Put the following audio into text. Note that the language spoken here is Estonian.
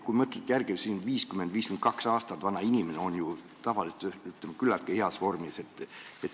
Kui te mõtlete järele, siis 50- või 52-aastane inimene on ju tavaliselt küllaltki heas vormis.